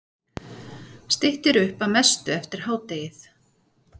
Styttir upp að mestu eftir hádegið